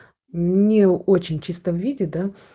не очень чистом виде да